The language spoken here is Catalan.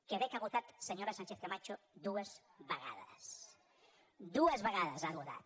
quebec ha votat senyora sánchez camacho dues vegades dues vegades ha votat